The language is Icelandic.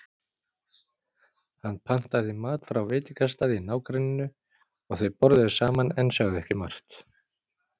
Hann pantaði mat frá veitingastað í nágrenninu og þau borðuðu saman en sögðu ekki margt.